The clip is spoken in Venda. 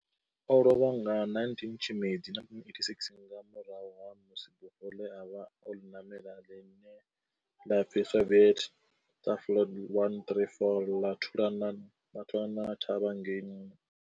O lovha nga 19 Tshimedzi 1986 nga murahu ha musi bufho ḽe a vha o ḽi ṋamela, line la pfi Soviet Tupolev 134 ḽa thulana thavha ngei.